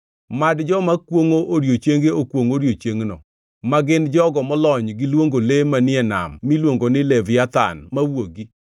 Mad joma kwongʼo odiechienge okwongʼ odiechiengno, ma gin jogo molony gi luongo le manie nam miluongo ni Leviathan mawuogi.